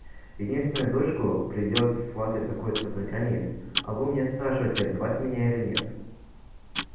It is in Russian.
единственную дочку придёт сватать какой-то программист а вы у меня спрашиваете отдавать меня или нет